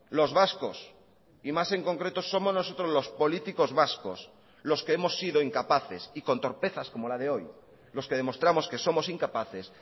los vascos y más en concreto somos nosotros los políticos vascos los que hemos sido incapaces y con torpezas como la de hoy los que demostramos que somos incapaces